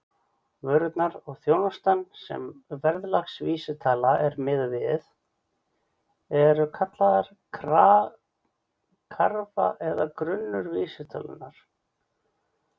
Vörurnar og þjónustan sem verðlagsvísitala er miðuð við eru kallaðar karfa eða grunnur vísitölunnar.